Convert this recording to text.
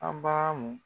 An bara mun